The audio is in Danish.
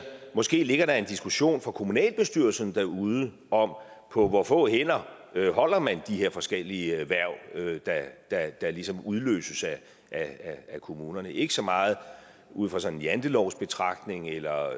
måske ligger en diskussion for kommunalbestyrelserne derude om på hvor få hænder man holder de her forskellige hverv der ligesom udløses af kommunerne ikke så meget ud fra sådan en jantelovsbetragtning eller